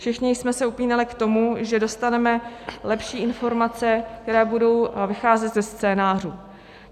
Všichni jsme se upínali k tomu, že dostaneme lepší informace, které budou vycházet ze scénářů.